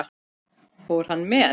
Fór hann með?